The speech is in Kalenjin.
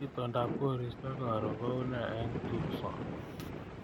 Itondab koristo nebo karon koune eng tukson